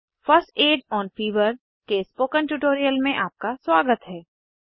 first aid on fever के spoken tutorial में आपका स्वागत है